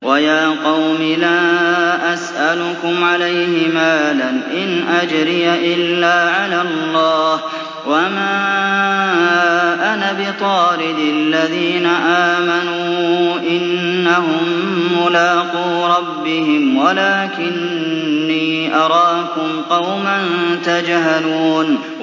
وَيَا قَوْمِ لَا أَسْأَلُكُمْ عَلَيْهِ مَالًا ۖ إِنْ أَجْرِيَ إِلَّا عَلَى اللَّهِ ۚ وَمَا أَنَا بِطَارِدِ الَّذِينَ آمَنُوا ۚ إِنَّهُم مُّلَاقُو رَبِّهِمْ وَلَٰكِنِّي أَرَاكُمْ قَوْمًا تَجْهَلُونَ